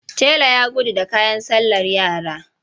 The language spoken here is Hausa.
Tela ya gudu da kayan sallar yara.